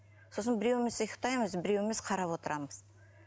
сосын біреуміз ұйықтаймыз біреуміз қарап отырамыз